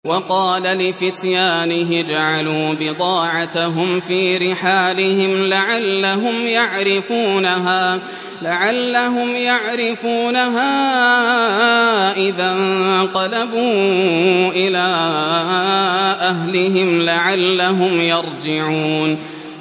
وَقَالَ لِفِتْيَانِهِ اجْعَلُوا بِضَاعَتَهُمْ فِي رِحَالِهِمْ لَعَلَّهُمْ يَعْرِفُونَهَا إِذَا انقَلَبُوا إِلَىٰ أَهْلِهِمْ لَعَلَّهُمْ يَرْجِعُونَ